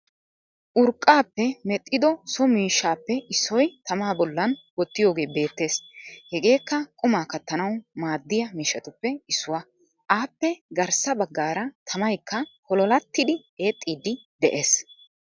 Urqaappe medhdhido so miishshappe issoy tamaa bollan wotidogee beettees. Hegeekka qumaa kattanawu maddiya miishshatuppe issuwaa. Aappe garssa baggara tamaaykka pololaatidi eexiydi de7ees.